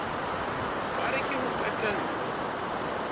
ba re ke ho qetello